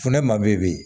Funde ma bɛ yen bi